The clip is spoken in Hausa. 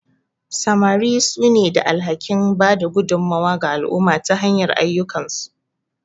Samari sune da alhakin bada gudummawa ga al'umma ta hanyar ayyukansu.